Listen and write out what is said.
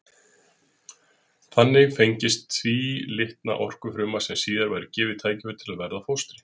Þannig fengist tvílitna okfruma sem síðan væri gefið tækifæri til að verða að fóstri.